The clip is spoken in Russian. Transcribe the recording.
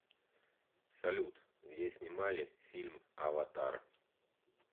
салют где снимали фильм аватар